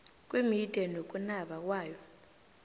kwemidiya nokunaba kwayo